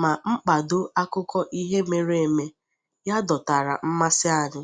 ma mkpado akụkọ ihe mere eme ya dọtara mmasị anyị.